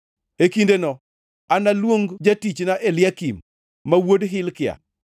E kindeno analuong jatichna Eliakim ma wuod Hilkia.